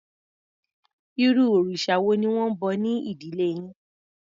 Irú òrìsà wo ni wọ́n ń bọ ní ìdílé yín?